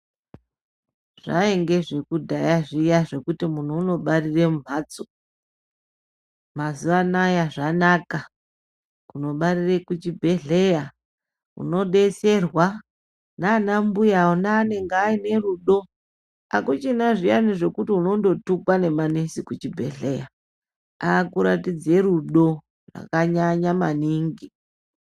Zvainge zvekudhaya zviya zvekuti muntu unobarire mumhatso ,mazuva ana-a zvanaka kundobarire kuchibhehleya ,unodetserwa nanambuya anenge anerudo .Akuchina zviya zvekuti unondotukwa nemanesi kuchibhehleya ,akuratidze rudo rwakanyanya maningi.